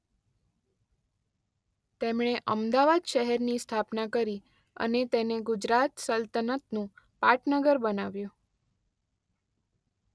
તેમણે અમદાવાદ શહેરની સ્થાપના કરી અને તેને ગુજરાત સલ્તનતનું પાટનગર બનાવ્યુ.